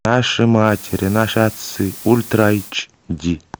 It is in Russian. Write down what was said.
наши матери наши отцы ультра эйч ди